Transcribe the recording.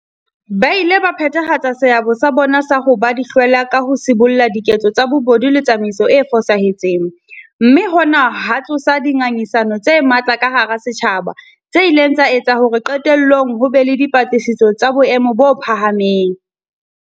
Ba ile ba phethahatsa seabo sa bona sa ho ba dihlwela ka ho sibolla diketso tsa bobodu le tsamaiso e fosahetseng, mme hona ha tsosa dinga ngisano tse matla ka hara setjhaba tse ileng tsa etsa hore qetellong ho be le dipatlisiso tsa boemo bo phahameng.